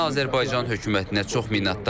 Mən Azərbaycan hökumətinə çox minnətdaram.